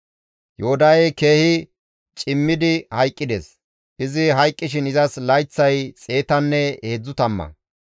Yoodahey keehi cimmidi hayqqides; izi hayqqishin izas layththay xeetanne heedzdzu tamma.